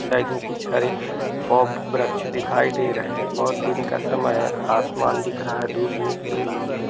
Side में कुछ हरे पोग वृक्ष दिखाई दे रहे हैं और दिन का समय हैं आसमान दिख रहा हैं धूप निकली हुई हैं।